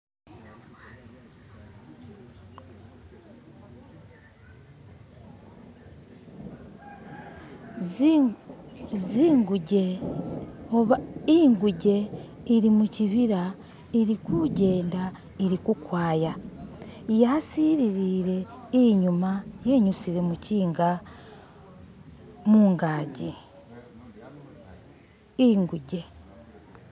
Zi zinguje oba inguje ili muchibila ilikujenda ili kukwaya yasililile inyuma yinyusile muchinga mungaji inguje